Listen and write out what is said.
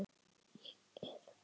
Er fegin.